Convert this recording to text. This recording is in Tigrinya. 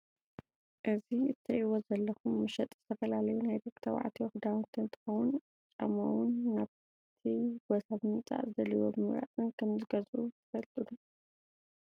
እዚ እትሪእዎ ዘለኹም መሸጢ ዝተፈላለዩ ናይ ደቂ ተባዕትዮ ኽዳውንቲ እንትኸውን ዓማውን እውን ናብቲ ቦታ ብምምፃእን ዝደለይዎ ብምምራፅን ከም ዝገዝኡ ትፈልጡ ዶ?